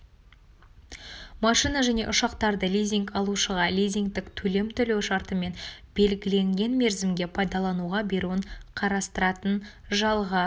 машина және ұшақтарды лизинг алушыға лизингтік төлем төлеу шартымен белгіленген мерзімге пайдалануға беруін қарастыратын жалға